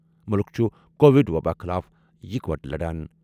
مُلُک چُھ کووِڈ وَباہِ خٕلاف اِکہٕ وٹہٕ لَڑان۔